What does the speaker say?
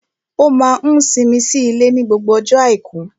Ó máa n simi sí ilé ní gbogbo ọjọ́ àìkú